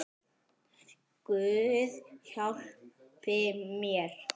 Guð hjálpi mér.